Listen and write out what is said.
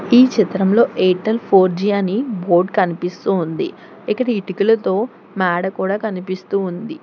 ఈ చిత్రంలో Airtel four G అని బోర్డ్ కనిపిస్తూ ఉంది ఇక్కడ ఇటుకలతో మేడ కూడా కనిపిస్తూ ఉంది.